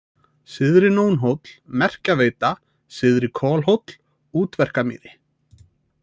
Syðri-Nónhóll, Merkjaveita, Syðri-Kolhóll, Útverkamýri